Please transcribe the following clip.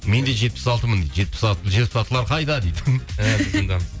мен де жетпіс алтымын жетпіс алтылар қайда дейді